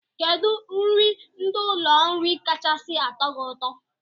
Kedụ nri ndị ụlọ nri kachasị atọ gị ụtọ?